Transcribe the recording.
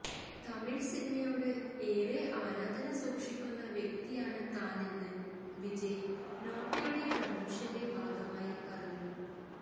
തമിഴ് സിനിമയോട് ഏറെ ആരാധന സൂക്ഷിക്കുന്ന വ്യക്തിയാണ് താനൊന്ന് വിജയ് നോട്ടയുടെ പ്രമേഷന്റെ ഭാഗമായി പറഞ്ഞു